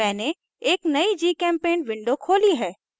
मैंने एक नयी gchempaint window खोली है